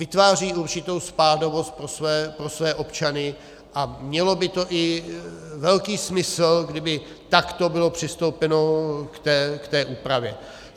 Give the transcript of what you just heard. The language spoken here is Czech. Vytváří určitou spádovost pro své občany a mělo by to i velký smysl, kdyby takto bylo přistoupeno k té úpravě.